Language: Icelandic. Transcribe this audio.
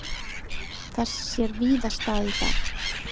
Þess sér víða stað í dag.